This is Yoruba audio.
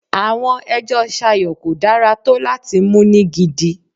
Àwọn ẹjọ́ Sayo kò dára tó láti mú ní gidi.